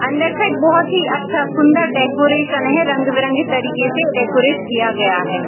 अंदर से बहुत ही अच्छा सुंदर डेकोरेशन है रंग-बिरंगे तरीक़े से डेकोरेट किया गया है।